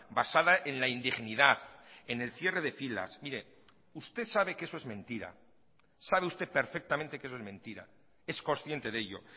basada en la indignidad en el cierre de filas mire usted sabe que eso es mentira sabe usted perfectamente que eso es mentira es consciente de ello